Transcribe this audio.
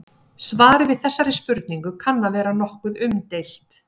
Svarið við þessari spurningu kann að vera nokkuð umdeilt.